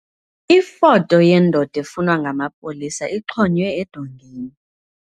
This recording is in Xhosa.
Ifoto yendoda efunwa ngamapolisa ixhonywe edongeni.